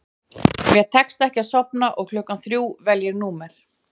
Mér tekst ekki að sofna og klukkan þrjú vel ég númer